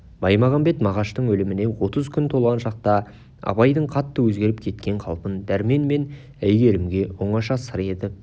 баймағамбет мағаштың өліміне отыз күн толған шақта абайдың қатты өзгеріп кеткен қалпын дәрмен мен әйгерімге оңаша сыр етіп